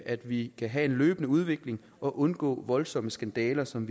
at vi kan have en løbende udvikling og undgå de voldsomme skandaler som